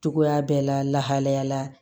Cogoya bɛɛ la la lahalaya la